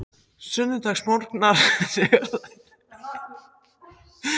Sunnudagsmorgnar þegar þær skriðu, ásamt Nonna og